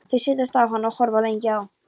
Þau setjast á hann og horfa lengi á